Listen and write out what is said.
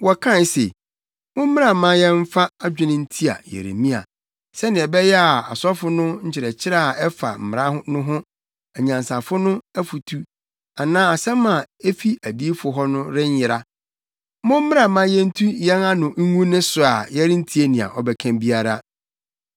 Wɔkae se, “Mommra ma yɛmfa adwene ntia Yeremia; sɛnea ɛbɛyɛ a asɔfo no nkyerɛkyerɛ a ɛfa mmara no ho, anyansafo no afotu anaa asɛm a efi adiyifo hɔ no renyera. Mommra na yentu yɛn ano ngu ne so a yɛrentie nea ɔbɛka biara.”